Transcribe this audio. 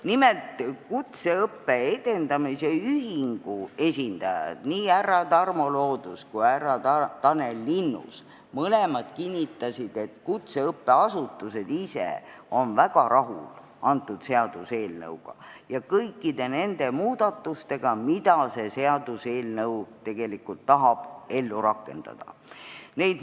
Nimelt, kutseõppe edendamise ühingu esindajad, nii härra Tarmo Loodus kui ka härra Tanel Linnus kinnitasid, et kutseõppeasutused ise on väga rahul selle eelnõuga ja kõikide nende muudatustega, mida tahetakse ellu rakendada.